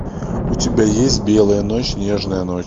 у тебя есть белая ночь нежная ночь